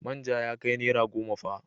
Manja ya kai naira goma fa.